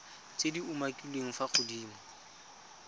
tse di umakiliweng fa godimo